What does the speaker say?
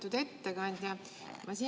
Lugupeetud ettekandja!